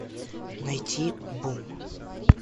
найти бум